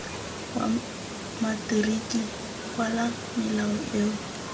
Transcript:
wa materiki kwala melao eo